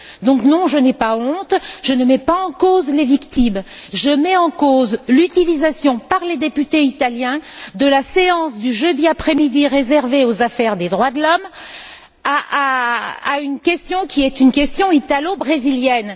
Donc, non, je n'ai pas honte, je ne mets pas en cause les victimes, je mets en cause l'utilisation par les députés italiens de la séance du jeudi après midi réservée aux affaires des droits de l'homme pour une question qui est une question italo brésilienne.